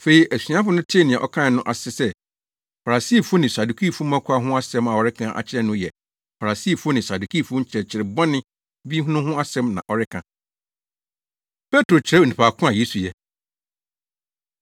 Afei asuafo no tee nea ɔkae no ase sɛ, Farisifo ne Sadukifo mmɔkaw ho asɛm a ɔreka akyerɛ no yɛ Farisifo ne Sadukifo nkyerɛkyerɛ bɔne bi no ho asɛm na ɔreka. Petro Kyerɛ Onipa Ko A Yesu Yɛ